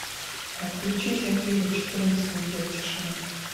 включи земфира четырнадцать недель тишины